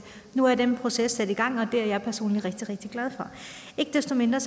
nu er den proces sat i gang og det er jeg personligt rigtig rigtig glad for ikke desto mindre